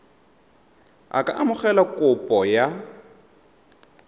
a ka amogela kopo ya